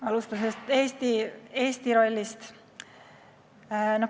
Alustan Eesti rollist.